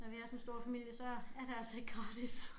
Og vi også en stor familie så er det altså ikke gratis